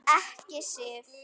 Ekki Sif.